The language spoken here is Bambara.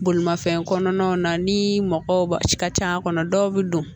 Bolimafɛn kɔnɔnaw na ni mɔgɔw ka c'a kɔnɔ dɔw bɛ don